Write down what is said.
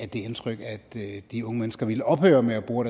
det indtryk at de unge mennesker ville ophøre med at bore